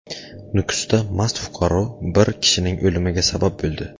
Nukusda mast fuqaro bir kishining o‘limiga sabab bo‘ldi.